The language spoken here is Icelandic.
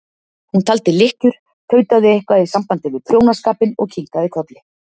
Hún taldi lykkjur, tautaði eitthvað í sambandi við prjónaskapinn og kinkaði kolli.